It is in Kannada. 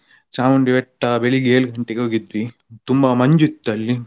ಚಾಮುಂಡಿ ಬೆಟ್ಟ ಬೆಳಿಗ್ಗೆ ಏಳು ಗಂಟೆಗೆ ಹೋಗಿದ್ವಿ ತುಂಬಾ ಮಂಜು ಇತ್ತಲ್ಲಿ.